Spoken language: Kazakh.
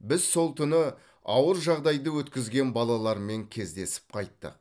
біз сол түні ауыр жағдайды өткізген балалармен кездесіп қайттық